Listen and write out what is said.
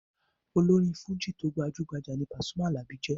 Olórin fújì tó gbajú-gbajà ní Pasuma Alabi jẹ́.